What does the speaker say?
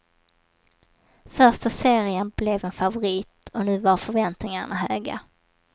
Första serien blev en favorit, och nu var förväntningarna höga.